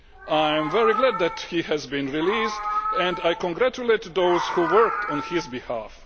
I am very glad that he has been released and I congratulate those who worked on his behalf.